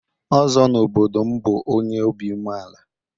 Ozo n'obodo m bu onye obi umeala.